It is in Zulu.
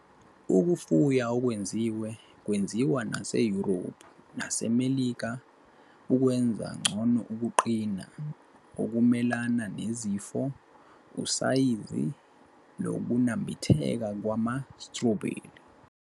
Ukufuya okwengeziwe kwenziwa naseYurophu naseMelika ukwenza ngcono ukuqina, ukumelana nezifo, usayizi nokunambitheka kwama-strawberry.